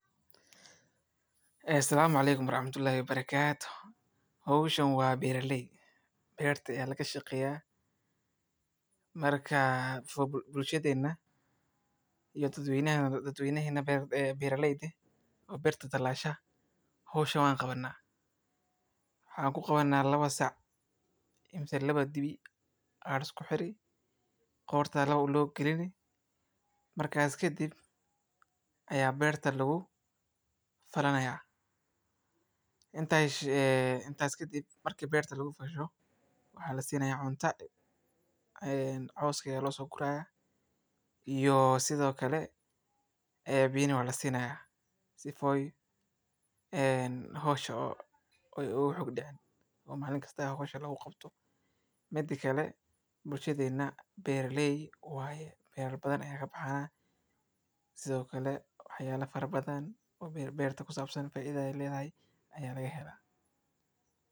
Beeralaygu wuxuu ku jiray goob weyn oo beer ah oo uu ku mashquulanaa in uu qodo, isagoo adeegsanaya laba geel oo aad u xooggan oo uu ku khasbay wasakhda cawska iyo carrada dusha sare, geeluhuna waxay ahaayen kuwo deggan oo raacsan amaradii beeralayga, isagoo si taxadar leh ugu wareejinaya qodxii dhuunta oo ay ku jiraan xoog iyo dadaal, qorraxdu markay sareysay ayey dabayl qabowday oo soo ridaysay hawo macaan, beeralayguna wuxuu si joogto ah ugu dhiirranayay in uu dhamaystirko shaqada maalintaa, isagoo marba markii uu soo noqnoqonayo.